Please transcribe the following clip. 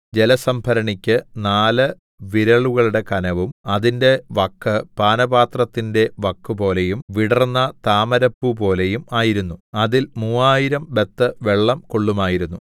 ജലസംഭരണിക്ക് നാല് വിരലുകളുടെ കനവും അതിന്റെ വക്ക് പാനപാത്രത്തിന്റെ വക്കുപോലെയും വിടർന്ന താമരപ്പൂപോലെയും ആയിരുന്നു അതിൽ മൂവായിരം ബത്ത് വെള്ളം കൊള്ളുമായിരുന്നു